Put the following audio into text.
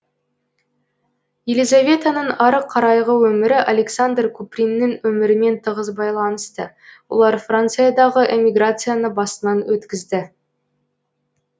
елизаветаның ары қарайғы өмірі александр куприннің өмірімен тығыз байланысты олар франциядағы эмиграцияны басынан өткізді